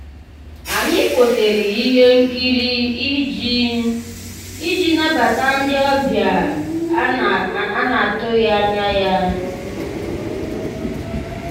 ànyị́ kwụ́sị́rí íhé nkírí ìjì ìjì nabàtà ndị́ ọ̀bịá á ná-àtụ́ghị́ ànyá yá.